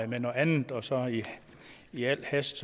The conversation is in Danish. med noget andet og så er jeg i al hast